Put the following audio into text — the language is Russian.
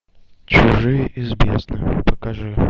чужие из бездны покажи